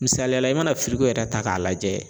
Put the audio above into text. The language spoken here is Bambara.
Misaliyala i mana yɛrɛ ta k'a lajɛ.